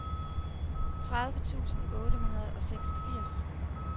tredive tusind otte hundrede og seksogfirs